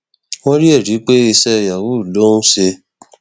wọn rí ẹrí pé iṣẹ yahoo ló ń ṣe